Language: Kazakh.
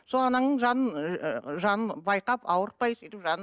сол анаңның жанын ыыы жанын байқап ауыртай сөйтіп жанын